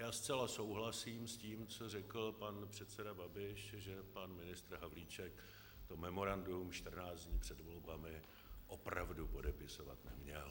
Já zcela souhlasím s tím, co řekl pan předseda Babiš, že pan ministr Havlíček to memorandum 14 dní před volbami opravdu podepisovat neměl.